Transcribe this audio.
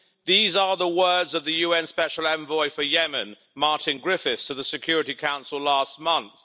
These are the words of the UN Special Envoy for Yemen, Martin Griffiths, to the Security Council last month.